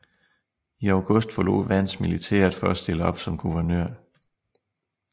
I august forlod Vance militæret for at stille op som guvernør